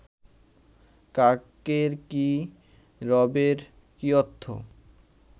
কাকের কি রবের কি অর্থ